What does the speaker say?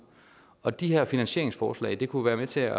og de her finansieringsforslag kunne være med til at